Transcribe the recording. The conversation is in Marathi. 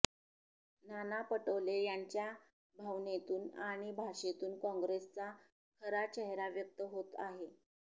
नाना पटोले यांच्या भावनेतून आणि भाषेतून काँग्रेसचा खरा चेहरा व्यक्त होत आहे